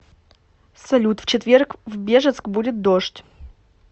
салют в четверг в бежецк будет дождь